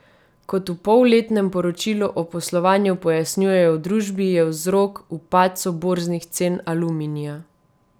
Kot v polletnem poročilu o poslovanju pojasnjujejo v družbi, je vzrok v padcu borznih cen aluminija.